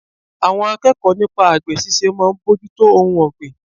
Àwọn akẹ́kọ̀ọ́ nípa àgbè ṣíṣe máa ń bójútó ohun ọgbín.